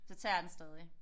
Så tager jeg den stadig